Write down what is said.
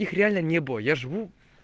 их реально не было я живу